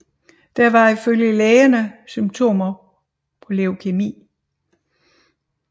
Der var ifølge lægerne symptomer på leukæmi